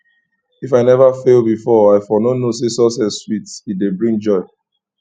if i never fail before i for no know say success sweet e dey bring joy